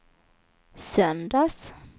söndags